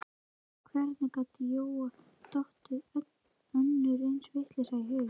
Hvernig gat Jóa dottið önnur eins vitleysa í hug?